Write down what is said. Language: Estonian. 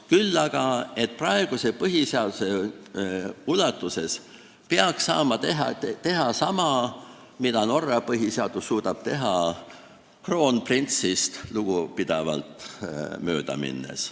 Küll aga peaks praeguse põhiseaduse raames saama teha sama, mida Norra põhiseaduse raames suudetakse teha, kroonprintsist lugupidavalt mööda minnes.